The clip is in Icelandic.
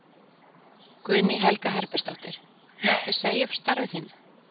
Guðný Helga Herbertsdóttir: Muntu segja upp starfi þínu?